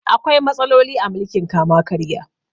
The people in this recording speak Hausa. Akwai matsaloli a mulkin kama-karya.